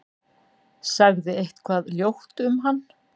Sagði eitthvað ljótt um hann.